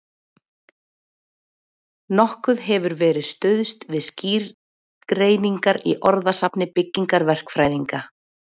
Nokkuð hefur verið stuðst við skýrgreiningar í orðasafni byggingaverkfræðinga.